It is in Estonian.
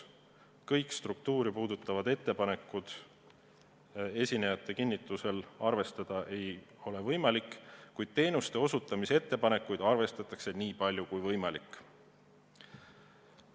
Kõiki struktuure puudutavaid ettepanekuid esinejate kinnitusel arvestada ei ole võimalik, kuid teenuste osutamise ettepanekuid arvestatakse nii palju kui võimalik.